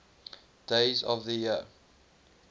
days of the year